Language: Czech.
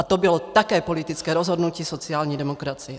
A to bylo také politické rozhodnutí sociální demokracie.